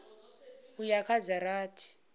u ya kha dza rathi